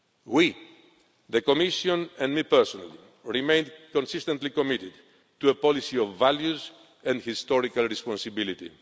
We, the Commission and I personally, remain consistently committed to a policy of values and historical responsibility.